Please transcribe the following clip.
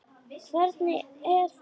Hvernig er það?